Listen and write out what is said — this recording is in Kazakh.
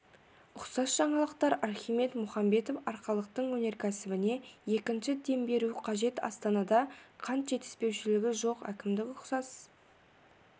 ұқсас жаңалықтар архимед мұхамбетов арқалықтың өнеркәсібіне екінші дем беру қажет астанада қант жетіспеушілігі жоқ әкімдік ұқсас